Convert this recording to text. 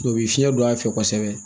O bɛ fiɲɛ don a fɛ kosɛbɛ